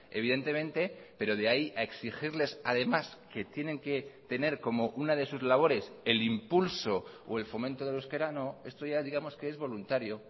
evidentemente pero de ahí a exigirles además que tienen que tener como una de sus labores el impulso o el fomento del euskera no esto ya digamos que es voluntario